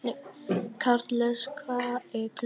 Karles, hvað er klukkan?